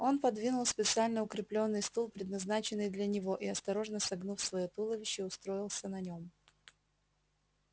он подвинул специально укреплённый стул предназначенный для него и осторожно согнув своё туловище устроился на нем